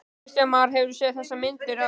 Kristján Már: Hefurðu séð þessar myndir áður?